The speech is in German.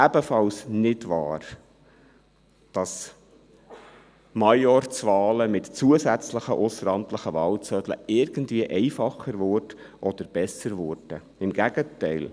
Ebenfalls nicht wahr ist, dass Majorzwahlen mit zusätzlichen ausseramtlichen Wahlzetteln irgendwie einfacher oder besser werden; im Gegenteil.